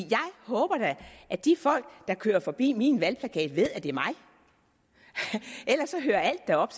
håber da at de folk der kører forbi min valgplakat ved at det er mig ellers hører alt da op